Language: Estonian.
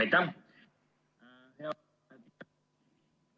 Aitäh!